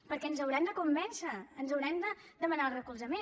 perquè ens hauran de convèncer ens hauran de demanar el recolzament